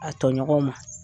A tɔɲɔgɔnw ma